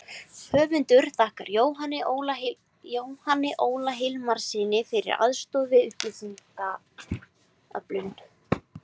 Höfundur þakkar Jóhanni Óla Hilmarssyni fyrir aðstoð við upplýsingaöflun.